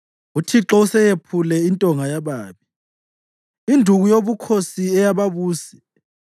UThixo useyephule intonga yababi, induku yobukhosi eyababusi,